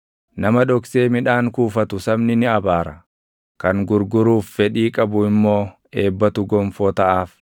Nama dhoksee midhaan kuufatu sabni ni abaara; kan gurguruuf fedhii qabu immoo eebbatu gonfoo taʼaaf.